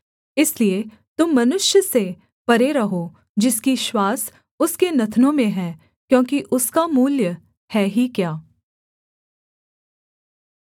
इसलिए तुम मनुष्य से परे रहो जिसकी श्वास उसके नथनों में है क्योंकि उसका मूल्य है ही क्या